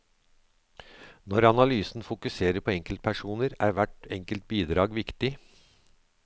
Når analysen fokuserer på enkeltpersoner, er hvert enkelt bidrag viktig.